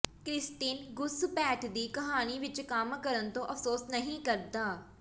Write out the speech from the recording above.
Christine ਘੁਸਪੈਠ ਦੀ ਕਹਾਣੀ ਵਿਚ ਕੰਮ ਕਰਨ ਤੋਂ ਅਫ਼ਸੋਸ ਨਹੀਂ ਕਰਦਾ